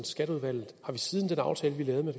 skatteudvalget har vi siden den aftale vi lavede med